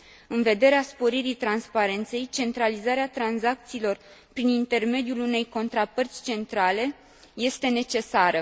În vederea sporirii transparenței, centralizarea tranzacțiilor prin intermediul unei contrapărți centrale este necesară.